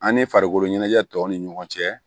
An ni farikolo ɲɛnajɛ tɔw ni ɲɔgɔn cɛ